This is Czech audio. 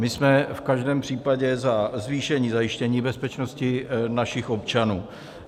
My jsme v každém případě za zvýšení zajištění bezpečnosti našich občanů.